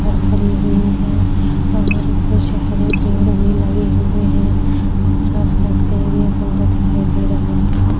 car खड़ी हुई है और कुछ हरे पेड़ भी लगे हुए है और आसपास के एरिया सुंदर दिखाई दे रहा --